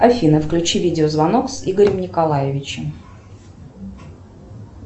афина включи видеозвонок с игорем николаевичем